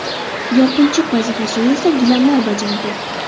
Yopinchiq vazifasini esa gilamlar bajardi.